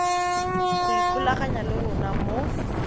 go ikgolaganya le rona mo